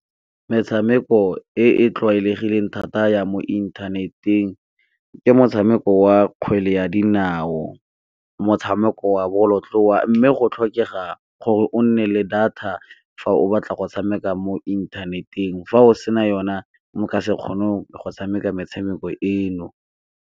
Metshameko e e tlwaelegileng thata ya mo inthaneteng ke motshameko wa kgwele ya dinao, motshameko wa bolotloa, mme go tlhokega gore o nne le data fa o batla go tshameka mo inthaneteng. Fa o sena yona o ka se kgoneng go tshameka metshameko eno.